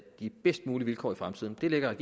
de bedst mulige vilkår i fremtiden det lægger